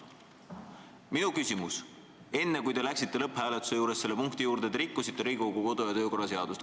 Minu väide: enne, kui te läksite lõpphääletuse juurde, te rikkusite Riigikogu kodu- ja töökorra seadust.